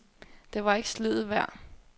Det var ikke sliddet værd.